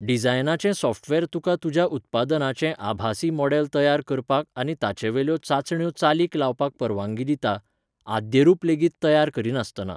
डिझायनाचें software तुका तुज्या उत्पादनाचें आभासी मॉडल तयार करपाक आनी ताचेवेल्यो चांचण्यो चालीक लावपाक परवानगी दिता, आद्यरूप लेगीत तयार करिनासतना.